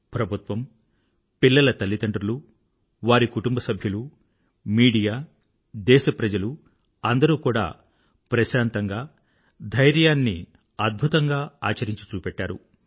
ప్రభుత్వం పిల్లల తల్లిదండ్రులు వారి కుటుంబసభ్యులు మీడియా దేశ ప్రజలు అందరూ కూడా ప్రశాంతంగా ధైర్యాలను అద్భుతంగా ఆచరించి చూపెట్టారు